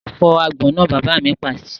Fọ́ àgbọn náà! Bàbá mi pàṣẹ.